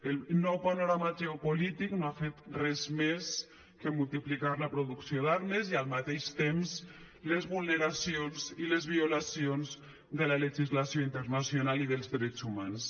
el nou panorama geopolític no ha fet res més que multiplicar la producció d’armes i al mateix temps les vulneracions i les violacions de la legislació internacional i dels drets humans